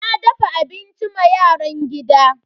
Na dafa abinci ma yaran gida.